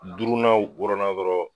Duurunan wɔrɔnan dɔrɔnw.